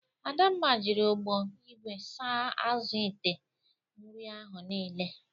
Adamma jiri ọgbọ igwe saa azụ ite nri ahụ niile.